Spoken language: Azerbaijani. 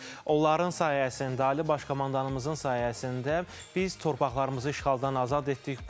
Məhz onların sayəsində, Ali Baş Komandanımızın sayəsində biz torpaqlarımızı işğaldan azad etdik.